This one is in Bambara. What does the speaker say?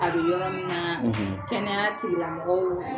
A bɛ yɔrɔ min na kɛnɛya tigilamɔgɔw